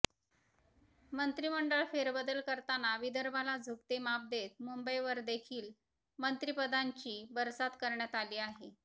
मंत्रिमंडळ फेरबदल करताना विदर्भाला झुकते माप देत मुंबईवरदेखील मंत्रिपदांची बरसात करण्यात आली आहे